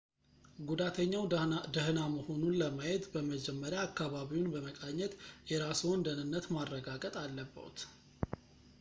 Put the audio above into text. ጉዳተኛው ደህና መሆኑን ለማየት በመጀመሪያ አካባቢውን በመቃኘት የራስዎን ደህነት ማረጋገጥ አለብዎት